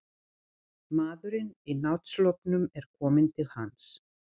Maðurinn í náttsloppnum er kominn til hans.